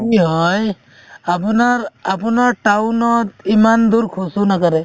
আপুনাৰ আপুনাৰ town ত ইমান দুৰ খোজও নাকাঢ়ে